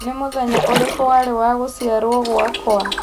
nĩ mũthenya ũrĩkũ warĩ wa gũciarwo gwakwa